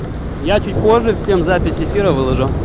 я чуть позже всем запись эфира выложу